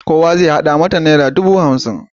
Kowa zai haɗa mata nera dubu hamsin.